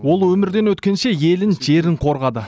ол өмірден өткенше елін жерін қорғады